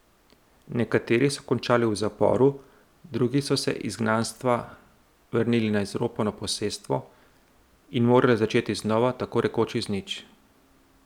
Nekateri so končali v zaporu, drugi so se iz izgnanstva vrnili na izropano posestvo in morali začeti znova, tako rekoč iz nič.